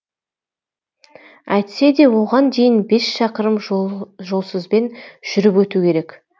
әйтсе де оған дейін бес шақырым жолсызбен жүріп өту керек